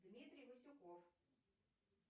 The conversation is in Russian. дмитрий васюков